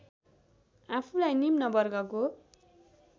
आफूलाई निम्न वर्गको